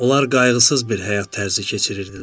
Onlar qayğısız bir həyat tərzi keçirirdilər.